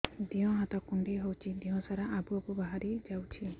ଦିହ ହାତ କୁଣ୍ଡେଇ ହଉଛି ଦିହ ସାରା ଆବୁ ଆବୁ ବାହାରି ଯାଉଛି